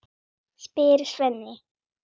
spyr Svenni.